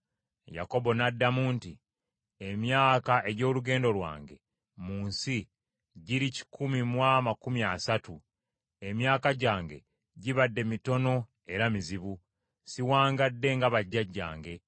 Yakobo n’addamu nti, “Emyaka egy’olugendo lwange mu nsi giri kikumi mu amakumi asatu; emyaka gyange gibadde mitono era mizibu; siwangadde nga bajjajjange.”